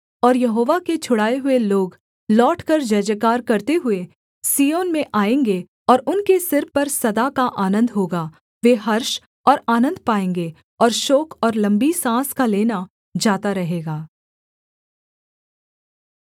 और यहोवा ने छुड़ाए हुए लोग लौटकर जयजयकार करते हुए सिय्योन में आएँगे और उनके सिर पर सदा का आनन्द होगा वे हर्ष और आनन्द पाएँगे और शोक और लम्बी साँस का लेना जाता रहेगा